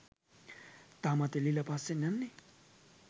තාමත් එල්ලිලා පස්සෙන් යන්නේ